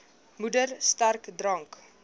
moeder sterk drank